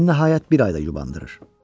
Ən nəhayət bir ay da yubandırır.